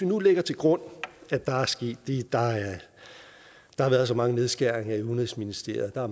nu lægge til grund at der er sket det der har været så mange nedskæringer i udenrigsministeriet og der